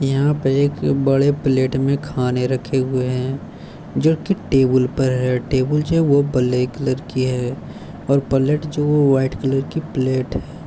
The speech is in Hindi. यहाँ पे एक बड़े प्लेट में खाने रखे हुए हैं जो की टेबल पर है टेबल जो है वो ब्लैक कलर की है और पलेट जो व्हाइट कलर की प्लेट है।